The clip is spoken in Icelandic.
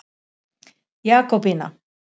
Jakobína